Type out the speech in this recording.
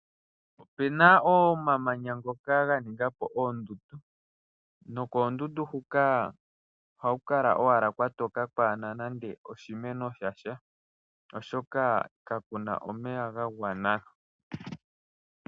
Opuna omamanya ngoka ganinga po oondundu, nokoondundu huka ohaku kala owala kwatoka, kwaana nande oshimeno shasha, oshoka kakuna omeya ga gwana.